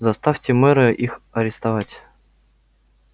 заставьте мэра их арестовать